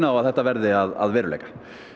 að þetta verði að veruleika